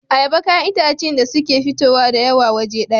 Ayaba kayan itace ne da suke fitowa dayawa waje daya